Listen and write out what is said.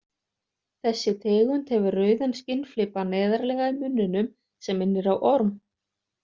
Þessi tegund hefur rauðan skinnflipa neðarlega í munninum sem minnir á orm.